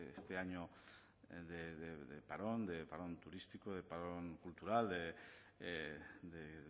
este año de parón turístico de parón cultural de